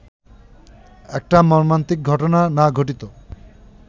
একটা মর্মান্তিক ঘটনা না ঘটিত